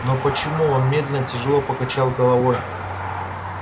но почему он медленно тяжело покачал головой